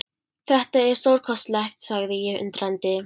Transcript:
Þetta er stórkostlegt sagði ég undrandi.